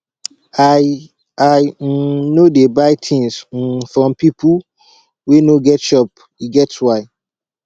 i i um no dey buy tins um from pipo wey no get shop e get why